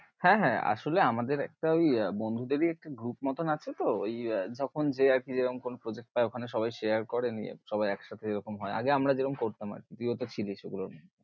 হ্যাঁ হ্যাঁ আসোলে আমাদের একটা ঐ বন্ধুদের ই একটা group মতন আছে তো, ঐ যখন যে আর কি যেরম কি project পায়ে ঐখানেই সবাই share করে নিয়ে সবাই একসাথে এরকম হয়ে আগে আমরা যেমন করতাম, তুই ও তো ছিলিশ সেইগুলোর মধ্যে।